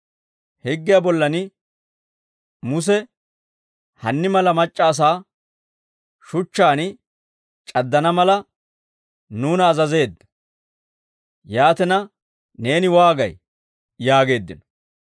Higgiyaa bollan Muse hanni mala mac'c'a asaa shuchchaan c'addana mala, nuuna azazeedda. Yaatina neeni waagay?» yaageeddino.